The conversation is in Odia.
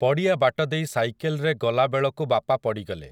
ପଡ଼ିଆ ବାଟ ଦେଇ ସାଇକେଲରେ ଗଲା ବେଳକୁ ବାପା ପଡ଼ିଗଲେ ।